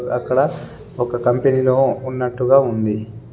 అక్కడ ఒక కంపెనీలో ఉన్నట్టుగా ఉంది.